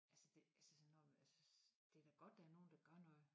Altså det altså når det da godt der er nogen der gør noget